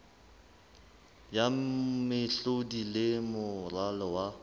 ya mehlodi le moralo wa